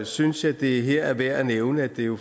synes jeg det her er værd at nævne at det jo